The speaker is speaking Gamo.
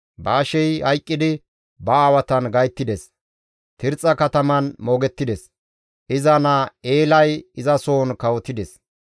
Baashey hayqqidi ba aawatan gayttides; Tirxxa kataman moogettides. Iza naa Eelay izasohon kawotides.